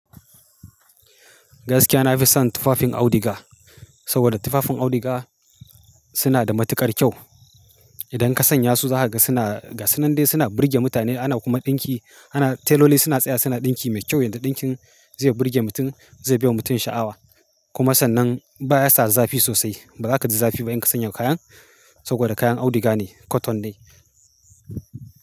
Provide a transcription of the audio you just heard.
Gaskiya nafi son tufafin auduga, saboda tufafin auduga suna da matuƙar kyau. Idan ka sanya su za ka ga suna gasanande, suna burge mutane ana kuma ɗinki. Ana teloli suna tsaya suna ɗinki mai kyau, yanda ɗinkin zai burge mutum, zai biya mutum sha'awa. Kuma sannan ba ya sa za fi sosai. Ba za ka ji zafi ba in ka sanya kayan, saboda kayan auduga ne cotton ne.